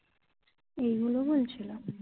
এগুলো বলছিলো